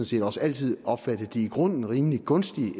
set også altid opfattet de i grunden rimelig gunstige